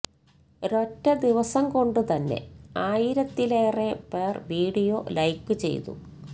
ഒരൊറ്റ ദിവസം കൊണ്ടു തന്നെ ആയിരത്തിലേറെ പേർ വീഡിയോ ലൈക്ക് ചെയ്തു